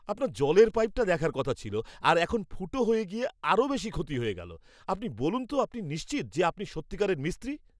আপনার জলের পাইপটা দেখার কথা ছিল আর এখন ফুটো হয়ে গিয়ে আরও বেশি ক্ষতি হয়ে গেলো! আপনি বলুন তো আপনি নিশ্চিত যে আপনি সত্যিকারের মিস্ত্রি?